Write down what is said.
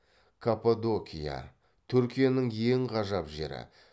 каппадокия түркияның ең ғажап жері